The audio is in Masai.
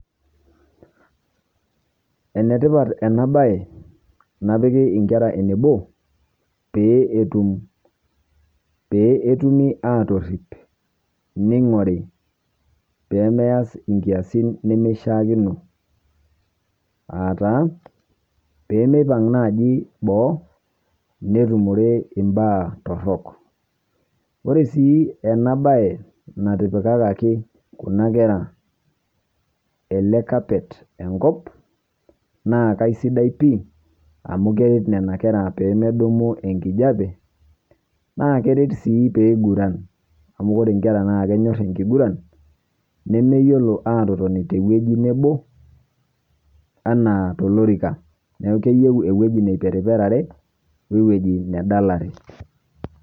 Enetipat ena bae napiki inkera enebo, pee etumi atorrip neing'ori pemeas inkiaasin nemeshiaakino, aa taa peemeipang' naaji boo, netumore imbaa torrok. Ore sii ena bae natipikaki kuna kera ele carpet enkop, naa kisidai pii amuu keret nena kera peemedumu enkijape naa keret sii peeiguran, amu kore nkera naa kenyorr enkiguran nemeyiolo atotoni te wueji nebo, anaa tolorika neeku keyieu ewueji neiperiperare we wueji nedalare.